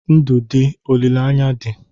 Ndụ dị, olileanya dị